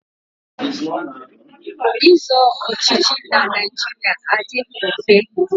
Ịzọ ọchịchị na Naịjirịa adịghị mfe.